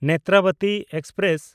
Netravati express